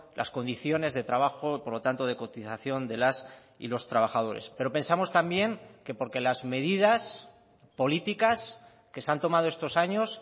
las condiciones de trabajo por lo tanto de cotización de las y los trabajadores pero pensamos también que porque las medidas políticas que se han tomado estos años